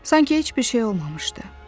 Sanki heç bir şey olmamışdı.